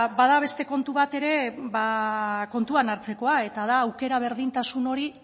bada beste kontu bat ere kontutan hartzekoa eta da aukera berdintasun hori